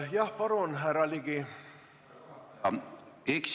Jah, palun, härra Ligi!